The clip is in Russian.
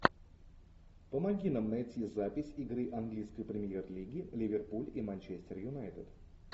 помоги нам найти запись игры английской премьер лиги ливерпуль и манчестер юнайтед